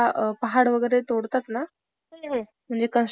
असे मोठं मोठे बॉम्ब्स लावले जातात ते पहाड तोडण्यासाठी